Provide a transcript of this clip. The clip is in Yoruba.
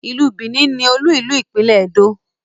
ilú Benin ní olú ilu ìpínlè Edo